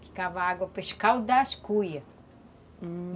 Ficava água para escaldar as cuias, hum